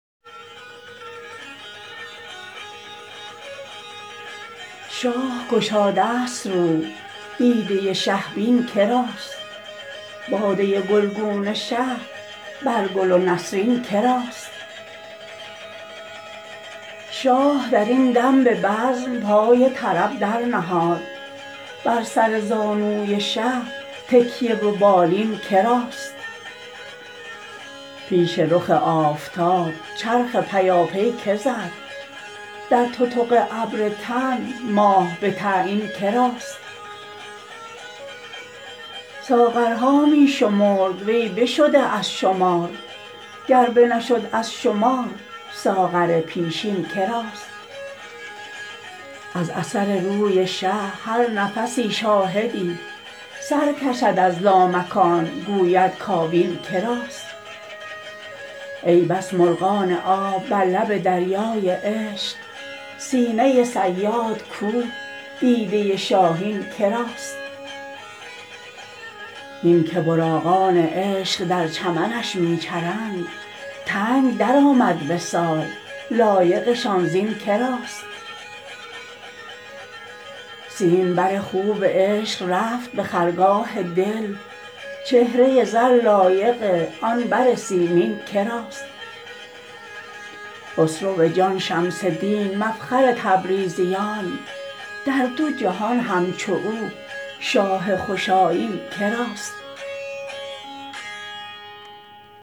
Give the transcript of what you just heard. شاه گشادست رو دیده شه بین که راست باده گلگون شه بر گل و نسرین که راست شاه در این دم به بزم پای طرب درنهاد بر سر زانوی شه تکیه و بالین که راست پیش رخ آفتاب چرخ پیاپی کی زد در تتق ابر تن ماه به تعیین که راست ساغرها می شمرد وی بشده از شمار گر بنشد از شمار ساغر پیشین که راست از اثر روی شه هر نفسی شاهدی سر کشد از لامکان گوید کابین که راست ای بس مرغان آب بر لب دریای عشق سینه صیاد کو دیده شاهین که راست هین که براقان عشق در چمنش می چرند تنگ درآمد وصال لایقشان زین که راست سیمبر خوب عشق رفت به خرگاه دل چهره زر لایق آن بر سیمین که راست خسرو جان شمس دین مفخر تبریزیان در دو جهان همچو او شاه خوش آیین که راست